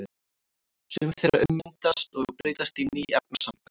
Sum þeirra ummyndast og breytast í ný efnasambönd.